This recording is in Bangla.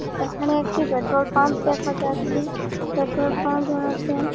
এখানে একটি পেট্রল পাম্প দেখা যাচ্ছে পেট্রল পাম্প -এর মধ্যে--